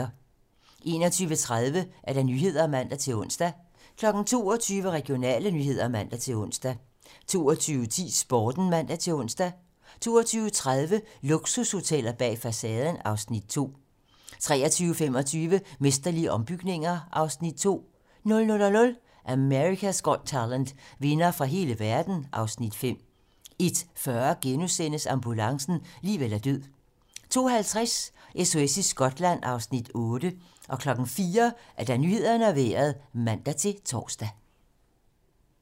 21:30: 21:30 Nyhederne (man-ons) 22:00: Regionale nyheder (man-ons) 22:10: Sporten (man-ons) 22:30: Luksushoteller bag facaden (Afs. 2) 23:25: Mesterlige ombygninger (Afs. 2) 00:00: America's Got Talent - vindere fra hele verden (Afs. 5) 01:40: Ambulancen - liv eller død * 02:50: SOS i Skotland (Afs. 8) 04:00: Nyhederne og Vejret (man-tor)